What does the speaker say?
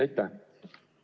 Aitäh!